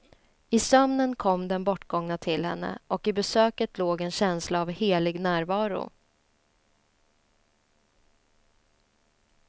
I sömnen kom den bortgångna till henne, och i besöket låg en känsla av helig närvaro.